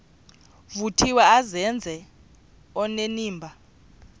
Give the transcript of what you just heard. vuthiwe azenze onenimba